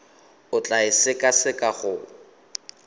o tla e sekaseka go